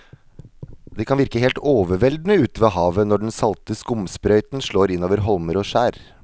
Det kan virke helt overveldende ute ved havet når den salte skumsprøyten slår innover holmer og skjær.